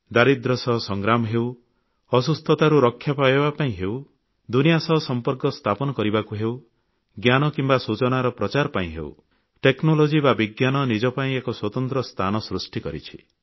ଦାରିଦ୍ର୍ୟ ସହ ସଂଗ୍ରାମ ହେଉ ଅସୁସ୍ଥତାରୁ ରକ୍ଷା ପାଇବା ପାଇଁ ହେଉ ଦୁନିଆ ସହ ସମ୍ପର୍କ ସ୍ଥାପନ କରିବାକୁ ହେଉ ଜ୍ଞାନ କିମ୍ବା ସୂଚନାର ପ୍ରଚାର ପାଇଁ ହେଉ ପ୍ରଯୁକ୍ତି ବିଦ୍ୟା ବା ବିଜ୍ଞାନ ନିଜ ପାଇଁ ଏକ ସ୍ୱତନ୍ତ୍ର ସ୍ଥାନ ସୃଷ୍ଟି କରିଛି